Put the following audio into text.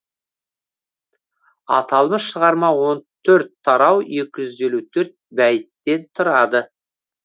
аталмыш шығарма он төрт тарау екі жүз елу төрт бәйіттен тұрады